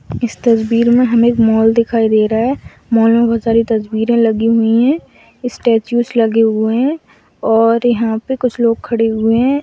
इस तस्वीर में हमें एक मॉल दिखाई दे रहा है मॉल में बहुत सारे तस्वीरें लगी हुई है स्टेचूज लगे हुए है और यहाँ पे कुछ लोग खड़े हुए है।